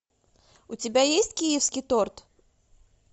у тебя есть киевский торт